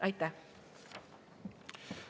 Aitäh!